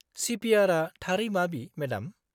-CPR आ थारै माबि, मेडाम?